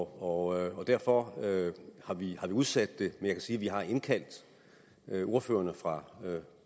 og derfor har vi udsat det men sige at vi har indkaldt ordførerne fra